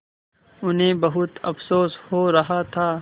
उन्हें बहुत अफसोस हो रहा था